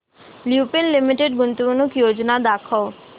Lupin limited गुंतवणूक योजना दाखव